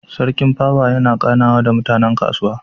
Sarki pawa yana ganawa da mutanen kasuwa